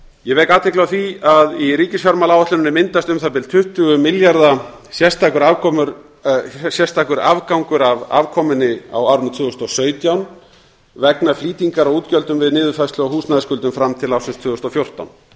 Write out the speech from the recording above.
ég vek athygli á því að í ríkisfjármálaáætluninni myndast um það bil tuttugu milljarða sérstakur afgangur af afkomunni á árinu tvö þúsund og sautján vegna flýtingar á útgjöldum við niðurfærslu á húsnæðisskuldum fram til ársins tvö þúsund og fjórtán